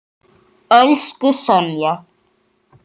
Elsku Sonja.